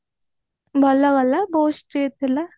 ଭଲ ହେଲା ବହୁତ street ଥିଲା